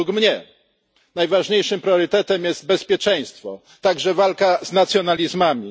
Według mnie najważniejszym priorytetem jest bezpieczeństwo, także walka z nacjonalizmami.